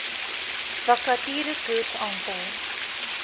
vakature koers aantal